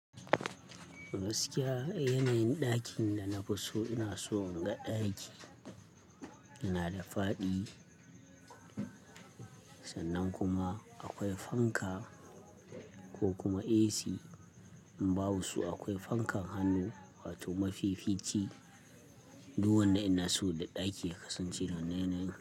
Gaskiya yanayin ɗakin da na fi so ina so na ga ɗaki yana da faɗi, sannan kuma akwai fanka ko kuma AC. In ba su akwai fankan hannu wato mafifici. Duk wannan ina so da ɗaki ya kasance da wannan yanayin.